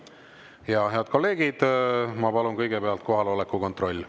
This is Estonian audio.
Ja head kolleegid, ma palun kõigepealt kohaloleku kontroll.